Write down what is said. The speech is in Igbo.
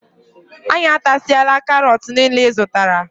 Anyị atasiala karot niile ịzụtara.